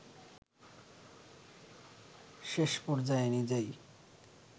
শেষপর্যায়ে নিজেই